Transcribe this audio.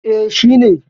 E, shi ne.